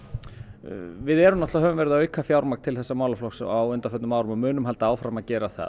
við höfum verið að auka fjármagn til þessa málaflokks á undanförnum árum og munum halda áfram að gera það